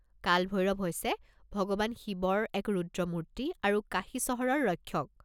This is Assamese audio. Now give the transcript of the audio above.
কাল ভৈৰৱ হৈছে ভগৱান শিৱৰ এক ৰুদ্ৰমূৰ্তি আৰু কাশী চহৰৰ ৰক্ষক।